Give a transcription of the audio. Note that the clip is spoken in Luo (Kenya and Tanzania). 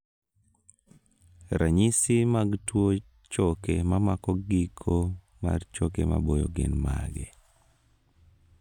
ranyisi mag tuo choke mamako giko mar choke maboyo gin mage?